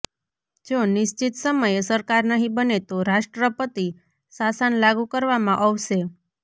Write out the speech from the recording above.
જો નિશ્ચિત સમયે સરકાર નહીં બને તો રાષ્ટ્રપતિ શાસન લાગુ કરવામાં અવશે